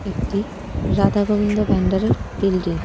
একটি রাধাগোবিন্দ ভান্ডারের বিল্ডিং .